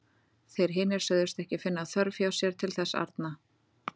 Þeir hinir sögðust ekki finna þörf hjá sér til þess arna.